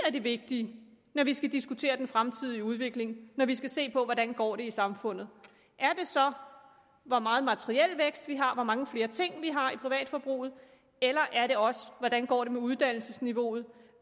er det vigtige når vi skal diskutere den fremtidige udvikling når vi skal se på hvordan det går i samfundet er det så hvor meget materiel vækst vi har hvor mange flere ting vi har i privatforbruget eller er det også hvordan det går med uddannelsesniveauet